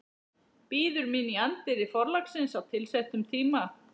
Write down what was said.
Bíður mín í anddyri forlagsins á tilsettum tíma.